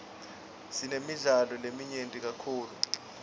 sinemidlalo leminyenti kakhulu